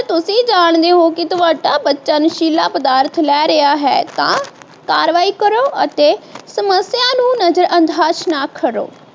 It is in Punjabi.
ਇਹ ਜਾਣਦੇ ਹੋ ਕਿ ਤੁਹਾਡਾ ਬੱਚਾ ਨਸ਼ੀਲਾ ਪਦਾਰਥ ਲੈ ਰਿਹਾ ਹੈ ਤਾਂ ਕਾਰਵਾਈ ਕਰੋ ਅਤੇ ਸੱਮਸਿਆ ਨੂੰ ਨਜ਼ਰਅੰਦਾਜ਼ ਨਾ ਕਰੋ